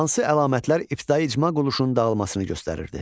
Hansı əlamətlər ibtidai icma qoluşunun dağılmasını göstərirdi?